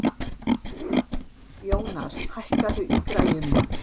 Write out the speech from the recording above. Jónar, hækkaðu í græjunum.